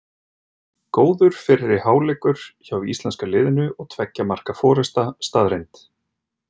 Góður fyrri hálfleikur hjá íslenska liðinu og tveggja marka forysta staðreynd.